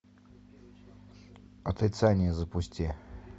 отрицание запусти